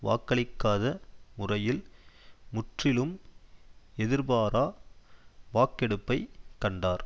வாக்களிக்காத முறையில் முற்றிலும் எதிர்பாரா வாக்கெடுப்பைக் கண்டார்